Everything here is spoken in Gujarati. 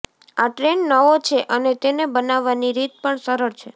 આ ટ્રેન્ડ નવો છે અને તેને બનાવવાની રીત પણ સરળ છે